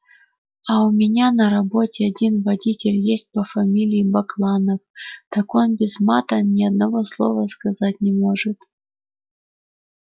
а у меня на работе один водитель есть по фамилии бакланов так он без мата ни одного слова сказать не может